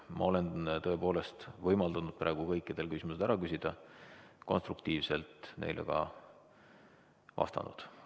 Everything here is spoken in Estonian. Ma olen tõepoolest võimaldanud praegu kõikidel küsimused ära küsida, konstruktiivselt neile ka vastanud.